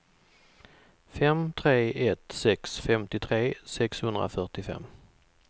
fem tre ett sex femtiotre sexhundrafyrtiofem